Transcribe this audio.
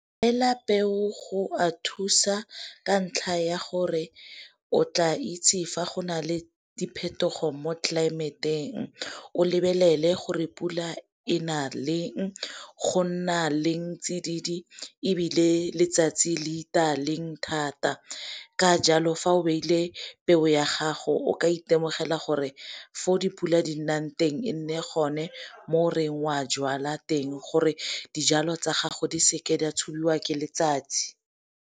peo go a thusa ka ntlha ya gore o tla itse fa go nale diphetogo mo tlelaemeteng, o lebelele gore pula e na leng, go nna leng tsididi, ebile letsatsi le itaya leng thata, ka jalo fa o beile peo ya gago o ka itemogela gore fo o dipula di nang teng e nne gone mo o reng wa a jwala teng gore dijalo tsa gago di seke di a tshubiwa ke letsatsi.